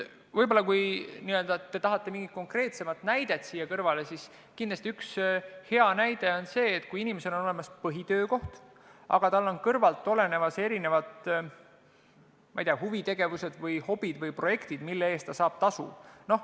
Kui te tahate nüüd mingit konkreetsemat näidet siia kõrvale, siis kindlasti üks hea näide on see: inimesel on olemas põhitöökoht, aga tal on kõrval olemas huvitegevused, hobid või projektid, mille eest ta saab tasu.